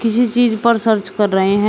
किसी चीज पर सर्च कर रहे हैं।